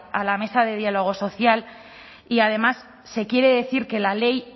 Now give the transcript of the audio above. a la mesa de diálogo social y además se quiere decir que la ley